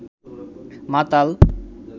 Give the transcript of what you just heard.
মাতাল